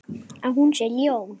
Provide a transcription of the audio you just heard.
Að hún sé ljón.